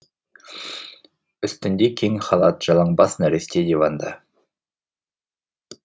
үстінде кең халат жалаңбас нәресте диванда